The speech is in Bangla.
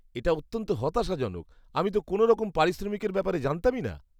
এটা অত্যন্ত হতাশাজনক। আমি তো কোনওরকম পারিশ্রমিকের ব্যাপারে জানতামই না।